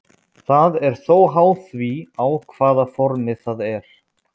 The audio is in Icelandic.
Það er þó háð því á hvaða formi það er.